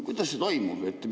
Kuidas see toimub?